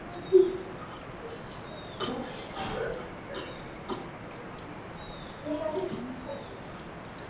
Síðdegis voru handritin afhent við hátíðlega athöfn í samkomuhúsi Háskólans.